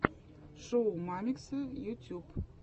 шоу мамикса ютьюб